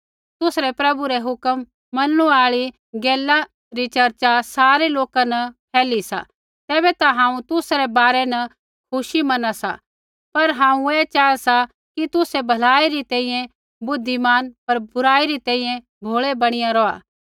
तुसरै प्रभु रा हुक्म मनणु आई गैला री चर्चा सारै लोका न फैली सा तैबै ता हांऊँ तुसा रै बारै न खुशी मना सा पर हांऊँ ऐ चाहा सा कि तुसै भलाई री तैंईंयैं बुद्धिमान पर बुराई री तैंईंयैं भोलै बणीया रौहा